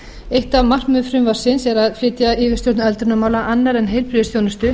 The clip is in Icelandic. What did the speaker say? eitt af markmiðum frumvarpsins er að flytja yfirstjórn öldrunarmála annarra en heilbrigðisþjónustu